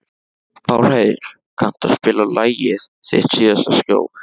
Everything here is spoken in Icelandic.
Pálheiður, kanntu að spila lagið „Þitt síðasta skjól“?